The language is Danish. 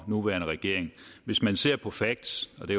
nuværende regering hvis man ser på facts og det